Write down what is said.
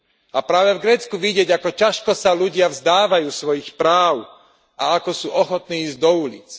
A práve v Grécku vidieť, ako ťažko sa ľudia vzdávajú svojich práv a ako sú ochotní ísť do ulíc.